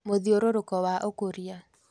Mũthiũrũrũko wa ũkũria